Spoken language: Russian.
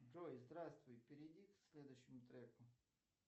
джой здравствуй перейди к следующему треку